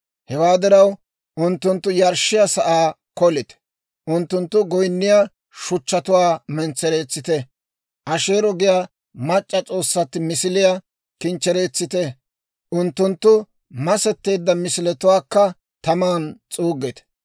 Hewaa diraw, unttunttu yarshshiyaa sa'aa kolite. Unttunttu goyinniyaa shuchchatuwaa mentsereetsite. Asheero giyaa mac'c'a s'oossatti misiliyaa kinchchereetsite; unttunttu masetteedda misiletuwaakka taman s'uuggite.